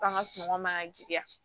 F'an ka sunɔgɔ man ga giriya